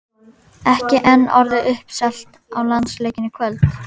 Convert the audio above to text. Ekki enn orðið uppselt á landsleikinn í kvöld?